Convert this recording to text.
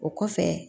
O kɔfɛ